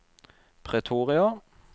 Pretoria